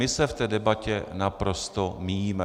My se v té debatě naprosto míjíme.